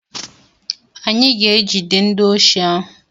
Anyị ga-egide ndi osi ahụ.